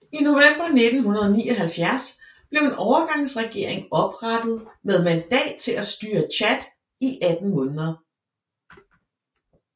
I november 1979 blev en overgangsregering oprettet med mandat til at styre Tchad i 18 måneder